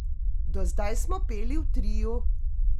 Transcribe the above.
Do zdaj smo peli v triu.